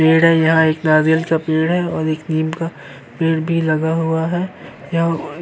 पेड़ है। यह एक नारियल का पेड़ है और एक नीम का पेड़ भी लगा हुआ है। यहाँ --